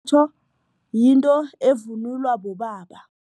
yinto evunulwa bobaba.